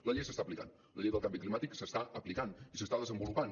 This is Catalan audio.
la llei s’està aplicant la llei del canvi climàtic s’està aplicant i s’està desenvolupant